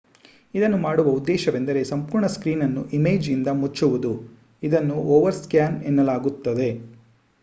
ಇದನ್ನು ಮಾಡುವ ಉದ್ದೇಶವೆಂದರೆ ಸಂಪೂರ್ಣ ಸ್ಕ್ರೀನ್ ಅನ್ನು ಇಮೇಜ್ ಇಂದ ಮುಚ್ಚವುದು ಇದನ್ನು ಓವರ್ ಸ್ಕ್ಯಾನ್ ಎನ್ನಲಾಗುತ್ತದೆ